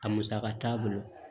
A musaka t'a bolo